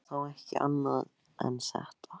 Það var þá ekki annað en þetta!